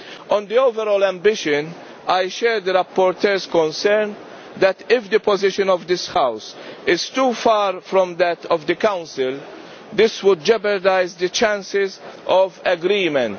On the overall ambition, I share the rapporteur's concern that if the position of this House is too far from that of the Council, this will jeopardise the chances of agreement.